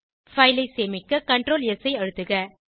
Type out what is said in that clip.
file ஐ சேமிக்க Ctrl S ஐ அழுத்துக